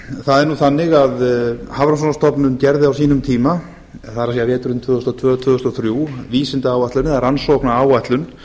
það er þannig að hafrannsóknastofnun gerði á sínum tíma það er veturinn tvö þúsund og tvö til tvö þúsund og þrjú vísindaáætlun eða rannsóknaráætlun